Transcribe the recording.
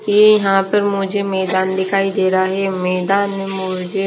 ये यहां पर मुझे मैदान दिखाई दे रहा है मैदान में मुझे--